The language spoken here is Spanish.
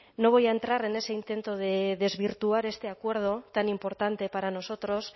no voy a entrar en ese intento de desvirtuar este acuerdo tan importante para nosotros